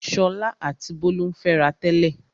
Ṣọlá àti Bólú ń fẹ́ra tẹ́lẹ̀.